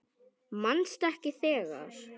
Manstu ekki þegar